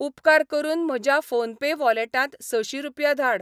उपकार करून म्हज्या फोनपे वॉलेटांत सशी रुपया धाड.